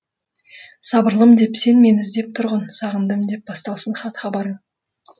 сабырлым деп сен мені іздеп тұрғын сағындым деп басталсын хат хабарың